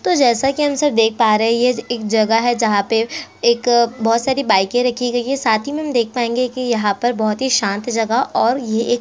तो जैसा कि हम सब देख पा रहे है ये एक जगह है जहाँ पे एक बोहोत सारी बाइकें रखी गई है साथ ही में हम देख पाएंगे कि यहाँ पर बोहोत ही शांत जगह और ये एक--